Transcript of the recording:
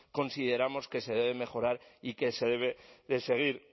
consideramos que se debe mejorar y que se debe seguir